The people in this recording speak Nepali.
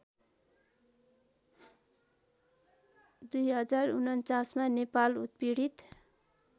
०४९मा नेपाल उत्पीडित